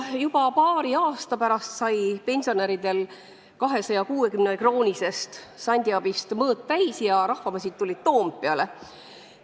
Juba paari aasta pärast sai pensionäridel 260-kroonisest sandiabist mõõt täis ja rahvamassid tulid Toompeale.